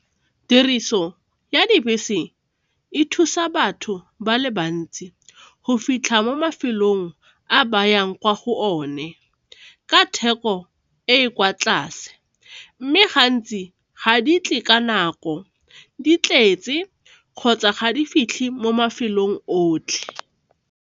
Tiriso ya dibese e thusa batho ba le bantsi go fitlha mo mafelong a ba yang kwa go one ka theko e e kwa tlase mme gantsi ga di tle ka nako di tletse kgotsa ga di fitlhe mo mafelong otlhe.